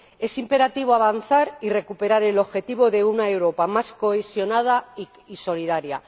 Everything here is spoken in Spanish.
Es imperativo avanzar y recuperar el objetivo de una Europa más cohesionada y solidaria.